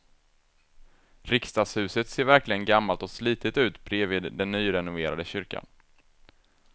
Riksdagshuset ser verkligen gammalt och slitet ut bredvid den nyrenoverade kyrkan.